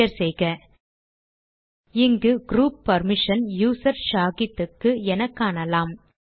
enter செய்க இங்கு group permission user Shahid க்கு என காணலாம்